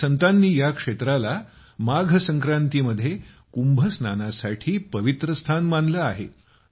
अनेक संतांनी या क्षेत्राला माघ संक्रांतीमध्ये कुंभ स्नानासाठी पवित्र स्थान मानलं आहे